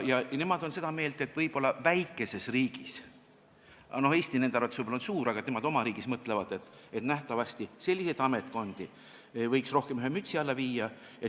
Nemad on seda meelt, nemad oma väikeses riigis – Eesti on nende arvates võib-olla suur – mõtlevad, et selliseid ametkondi võiks rohkem ühe mütsi alla viia.